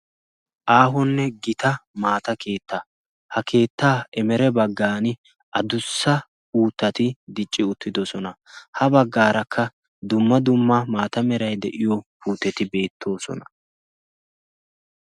aahonne gita maata keetta ha keettaa emere baggan adussa uutati dicci uttidosona. ha baggaarakka dumma dumma maata meray de7iyo puuteti beettoosona